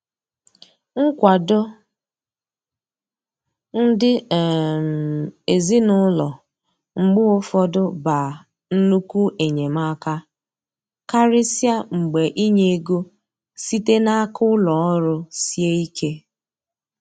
Nkwado ndi um ezinaụlọ mgbe ụfọdụ ba nnukwu enyemaka, karịsịa mgbe inye ego site n'aka ụlọ ọrụ sie ike.